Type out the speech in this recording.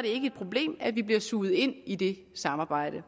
ikke et problem at vi bliver suget ind i det samarbejde